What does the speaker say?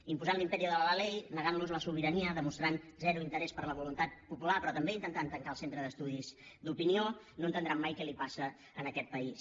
imposant l’imperio de la ley negant los la sobirania demostrant zero interès per la voluntat popular però també intentant tancar el centre d’estudis d’opinió no entendran mai què li passa a aquest país